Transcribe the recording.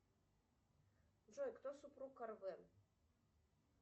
джой кто супруг арвен